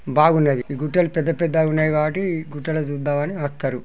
బాగున్నది ఈ గుట్టలు పెద్ద పెద్దగా ఉన్నాయి కాబట్టి గుట్టలు చూద్దాం అని వస్తరు.